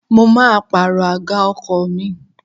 Mo máa pàrọ̀ àga ọkọ̀ mi.